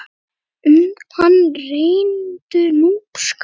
Um hann rennur Núpsá.